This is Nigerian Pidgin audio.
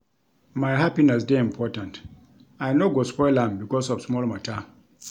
My happiness dey important, I no go spoil am because of small mata.